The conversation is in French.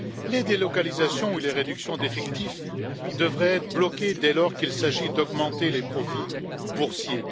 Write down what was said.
Les délocalisations ou les réductions d'effectifs devraient être bloquées dès lors qu'il s'agit d'augmenter les profits boursiers.